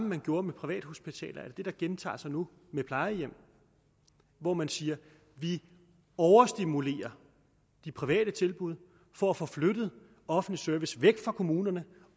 man gjorde med privathospitalerne er der gentager sig nu med plejehjem hvor man siger vi overstimulerer de private tilbud for at få flyttet offentlig service væk fra kommunerne